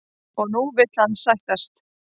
Og nú vill hann sættast?